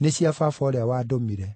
nĩ cia Baba ũrĩa wandũmire.